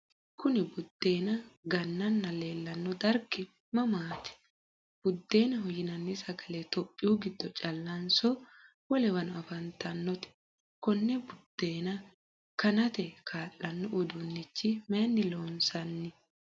kuni buddeena gannanna leelanno dargi mamaati? buddeenaho yinanni sagale tophiyu giddo callanso wolewano afantannote? konne buddeena kanate kaa'lanno uduunicho mayiinni loonsanni?